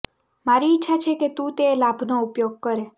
મારી ઇચ્છા છે કે તું તે લાભનો ઉપયોગ કરે